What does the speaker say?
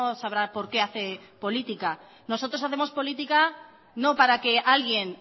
sabrá por qué hace política nosotros hacemos política no para que alguien